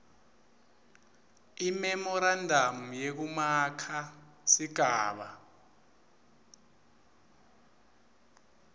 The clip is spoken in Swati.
imemorandamu yekumaka sigaba